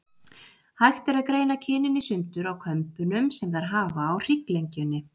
Hægt er að greina kynin í sundur á kömbunum sem þær hafa á hrygglengjunni.